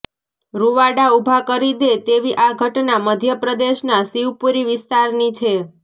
રૂવાડા ઊભા કરી દે તેવી આ ઘટના મધ્યપ્રદેશના શિવપુરી વિસ્તારની છે